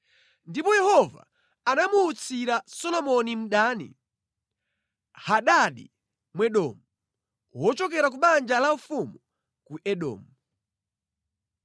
Ndipo Yehova anamuutsira Solomoni mdani, Hadadi Mwedomu, wochokera ku banja laufumu ku Edomu.